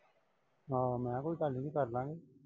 ਆਹੋ ਮੈਂ ਕਿਹਾ ਕੋਈ ਗੱਲ ਨਈਂ ਕਰਲਾਂਗੇ।